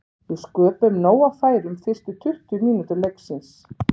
Við sköpuðum nóg af færum fyrstu tuttugu mínútur leiksins.